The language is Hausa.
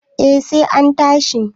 eh sai an tashi